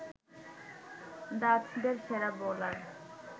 ডাচদের সেরা বোলার